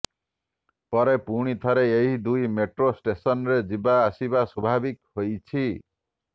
ପରେ ପୁଣିଥରେ ଏହି ଦୁଇ ମେଟ୍ରୋ ଷ୍ଟେସନରେ ଯିବା ଆସିବା ସ୍ୱାଭାବିକ ହୋଇଛି